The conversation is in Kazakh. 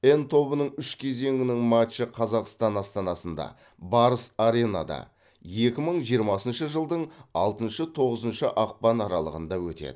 н тобының үш кезеңінің матчы қазақстан астанасында барыс аренада екі мың жиырмасыншы жылдың алтыншы тоғызыншы ақпан аралығында өтеді